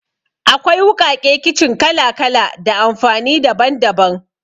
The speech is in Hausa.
Akwai wuƙaƙe kicin kala-kala da amfani daban-daban.